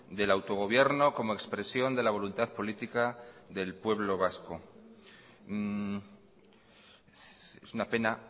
del autogobierno como expresión de la voluntad política del pueblo vasco es una pena